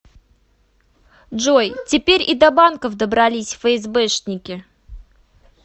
джой теперь и до банков добрались фээсбэшники